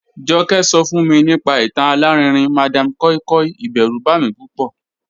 Joke so fun mi nipa itan alarinrin madam koi koi, iberu ba mi pupo.